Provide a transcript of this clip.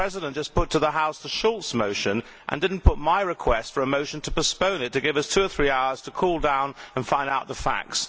The President just put to the House the Schulz motion, and did not put my request for a motion to postpone it to give us two or three hours to cool down and find out the facts.